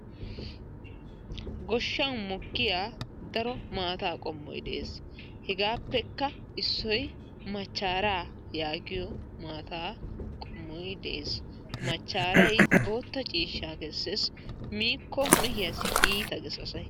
Goshshan mokkiya daro maataa qommoy dees. hegaappekka issoy machchaara yaagiyo maataa qommoy dees. machaaray orde ciishshaa kesees. miiko mehiyaassi iita ges asay.